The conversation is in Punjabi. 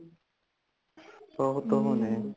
ਬਹੁਤ ਉਹ ਨੇ